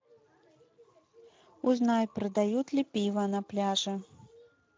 узнай продают ли пиво на пляже